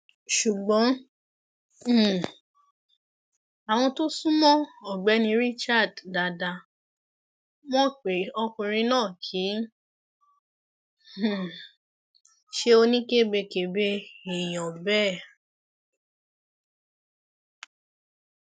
ṣùgbọn um àwọn tó sún mọ ọgbẹni richard dáadáa mọ pé ọkùnrin náà kì í um ṣe oníkebèkebẹ èèyàn bẹẹ